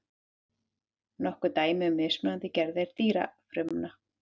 nokkur dæmi um mismunandi gerðir dýrafrumna